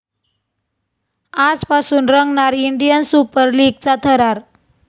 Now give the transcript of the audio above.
आजपासून रंगणार 'Indian super लीग'चा थरार